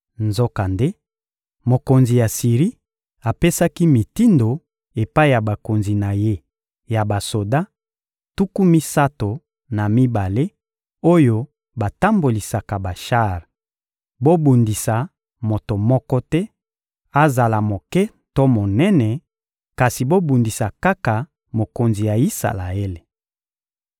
Nzokande, mokonzi ya Siri apesaki mitindo epai ya bakonzi na ye ya basoda, tuku misato na mibale, oyo batambolisaka bashar: «Bobundisa moto moko te, azala moke to monene; kasi bobundisa kaka mokonzi ya Isalaele.»